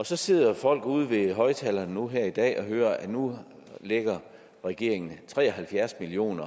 så sidder folk ude ved højtalerne nu her i dag og hører at nu lægger regeringen tre og halvfjerds million